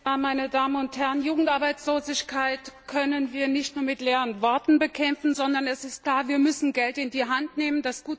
Herr Präsident, meine Damen und Herren! Jugendarbeitslosigkeit können wir nicht mit leeren Worten bekämpfen, sondern es ist klar Wir müssen Geld in die Hand nehmen.